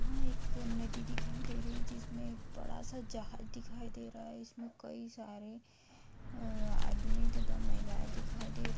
यहाँ एक नदी दिखाई दे रही है जिसमें एक बड़ा सा जहाज दिखाई दे रहा है जिसमें कई सारे अ आदमी तथा महिलाएं दिखाई दे रहे --